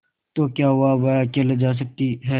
तो क्या हुआवह अकेले जा सकती है